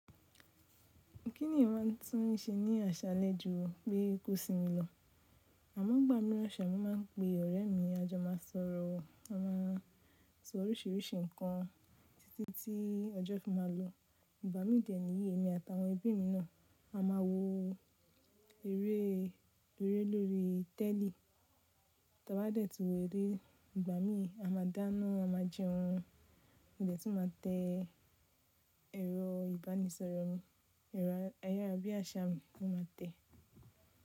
Kí ni eyan máa tún ní se ní àṣálẹ́ ju bí kò sínmi lọ? Àmọ ngbà mirán ṣa, mo máa ń pe ọ̀rẹ́ mi, a jọ má sọ̀rọ̀, a máa sọ orísìírísìí nǹkan títí tí ọjọ́ fi máa lọ. Ìgbà mí de ni iyi emi àtàwọn ẹbí mi náà a máa wo eré lóri lóri tẹ́lì. Tí a bá dẹ̀ tún wo eré, ìgbà mí a máa dáná, a máa jẹun a jẹ tún ma tẹ́ ẹ̀rọ ìbánisọ̀rọ̀ mi, ẹ̀rọ ayárabíàṣá mi mo ma tẹ́